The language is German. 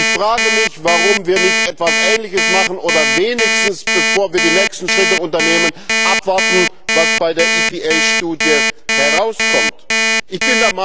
Ich frage mich, warum wir nicht etwas Ähnliches machen oder wenigstens, bevor wir die nächsten Schritte unternehmen, abwarten, was die EPA Studie ergibt.